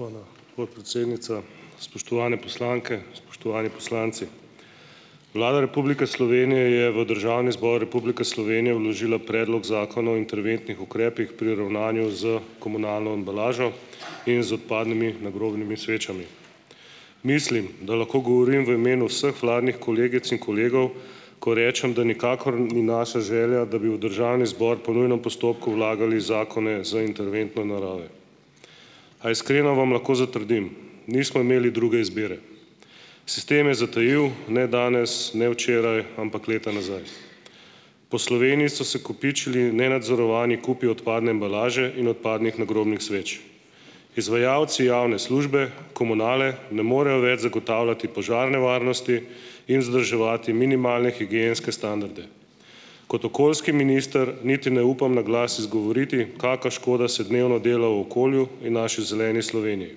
Hvala podpredsednica. Spoštovane poslanke, spoštovani poslanci! Vlada Republike Slovenije je v Državni zbor Republike Slovenije vložila Predlog zakona o interventnih ukrepih pri ravnanju s komunalno embalažo in z odpadnimi nagrobnimi svečami. Mislim, da lahko govorim v imenu vseh vladnih kolegic in kolegov, ko rečem, da nikakor ni naša želja, da bi v državni zbor po nujnem postopku vlagali zakone z interventne narave, a iskreno vam lahko zatrdim nismo imeli druge izbire. Sistem je zatajil ne danes, ne včeraj, ampak leta nazaj. Po Sloveniji so se kopičili nenadzorovani kupi odpadne embalaže in odpadnih nagrobnih sveč. Izvajalci javne službe komunale ne morejo več zagotavljati požarne varnosti in vzdrževati minimalne higienske standarde. Kot okoljski minister niti ne upam na glas izgovoriti, kaka škoda se dnevno dela v okolju in naši zeleni Sloveniji,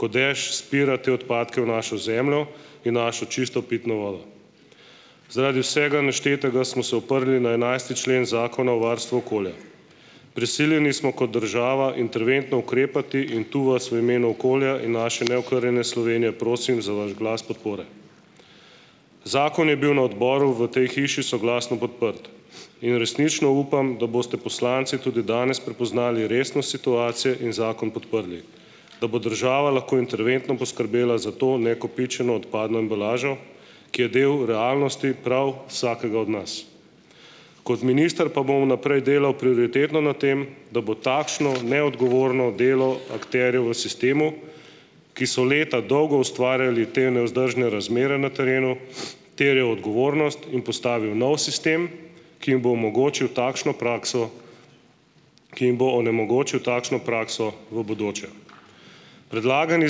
ko dež spira te odpadke v našo zemljo in našo čisto pitno vodo. Zaradi vsega naštetega smo se oprli na enajsti člen Zakona o varstvu okolja. Prisiljeni smo kot država interventno ukrepati in tu vas v imenu okolja in naše neokrnjene Slovenije prosim za vaš glas podpore. Zakon je bil na odboru v tej hiši soglasno podprt in resnično upam, da boste poslanci tudi danes prepoznali resnost situacije in zakon podprli. Da bo država lahko interventno poskrbela za to nakopičeno odpadno embalažo, ki je del realnosti prav vsakega od nas. Kot minister pa bom vnaprej delal prioritetno na tem, da bo takšno neodgovorno delo akterjev v sistemu, ki so leta dolgo ustvarjali te nevzdržne razmere na terenu, terjal odgovornost in postavil nov sistem, ki jim bo omogočil takšno prakso, ki jim bo onemogočil takšno prakso v bodoče. Predlagani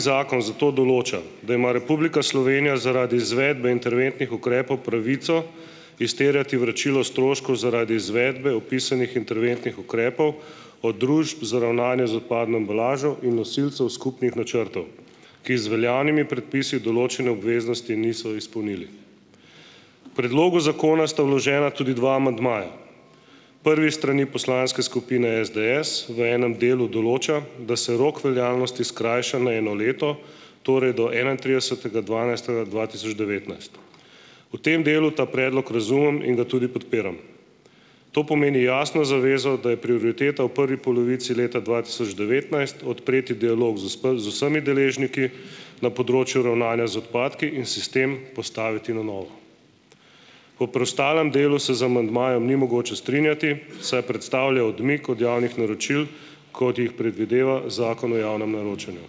zakon zato določa, da ima Republika Slovenija zaradi izvedbe interventnih ukrepov pravico izterjati vračilo stroškov zaradi izvedbe opisanih interventnih ukrepov od družb za ravnanje z odpadno embalažo in nosilcev skupnih načrtov, ki z veljavnimi predpisi določene obveznosti niso izpolnili. K predlogu zakona sta vložena tudi dva amandmaja, prvi s strani poslanske skupine SDS v enem delu določa, da se rok veljavnosti skrajša na eno leto, torej do enaintridesetega dvanajstega dva tisoč devetnajst. Po tem delu ta predlog razumem in ga tudi podpiram. To pomeni jasno zavezo, da je prioriteta v prvi polovici leta dva tisoč devetnajst odpreti dialog z vsemi deležniki na področju ravnanja z odpadki in sistem postaviti na novo. O preostalem delu se z amandmajem ni mogoče strinjati, saj predstavlja odmik od javnih naročil, kot jih predvideva Zakon o javnem naročanju.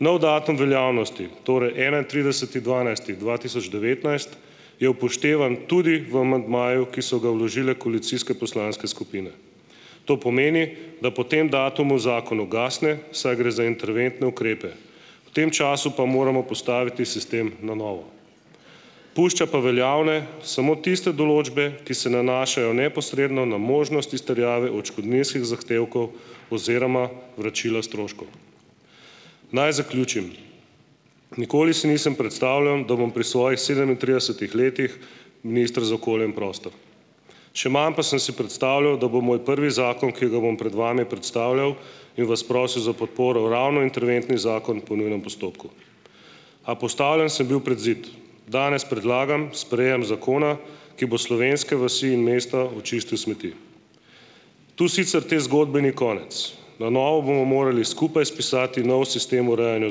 Nov datum veljavnosti torej enaintrideseti dvanajsti dva tisoč devetnajst je upoštevan tudi v amandmaju, ki so ga vložile koalicijske poslanske skupine. To pomeni, da po tem datumu zakon ugasne, saj gre za interventne ukrepe. V tem času pa moramo postaviti sistem na novo. Pušča pa veljavne samo tiste določbe, ki se nanašajo neposredno na možnost izterjave odškodninskih zahtevkov oziroma vračila stroškov. Naj zaključim. Nikoli si nisem predstavljal, da bom pri svojih sedemintridesetih letih minister za okolje in prostor. Še manj pa sem si predstavljal, da bo moj prvi zakon, ki ga bom pred vami predstavljal in vas prosil za podporo, ravno interventni zakon po nujnem postopku, a postavljen sem bil pred zid. Danes predlagam sprejem zakona, ki bo slovenske vasi in mesta očistil smeti. Tu sicer te zgodbe ni konec. Na novo bomo morali skupaj spisati nov sistem urejanja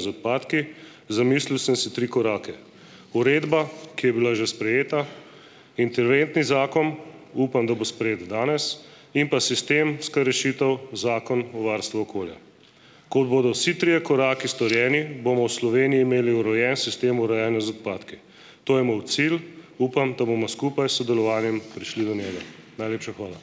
z odpadki, zamislil sem si tri korake. Uredba, ki je bila že sprejeta, interventni zakon, upam, da bo sprejet danes, in pa sistemska rešitev Zakon o varstvu okolja. Ko bodo vsi trije koraki storjeni, bomo v Sloveniji imeli urejen sistem urejanja z odpadki. To je moj cilj. Upam, da bomo skupaj s sodelovanjem prišli do njega. Najlepša hvala.